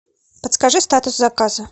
подскажи статус заказа